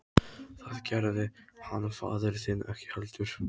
Það gerði hann faðir þinn ekki heldur.